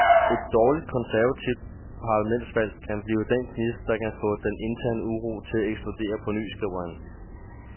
Et dårligt konservativt parlamentsvalg kan blive den gnist, der kan få den interne uro til at eksplodere på ny, skriver han.